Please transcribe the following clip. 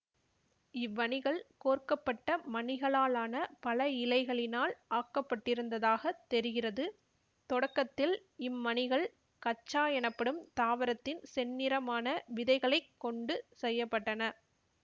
இவ்வணிகள் கோர்க்கப்பட்ட மணிகளாலான பல இழைகளினால் ஆக்கப்பட்டிருந்ததாகத் தெரிகிறது தொடக்கத்தில் இம் மணிகள் கக்சா எனப்படும் தாவரத்தின் செந்நிறமான விதைகளை கொண்டு செய்ய பட்டன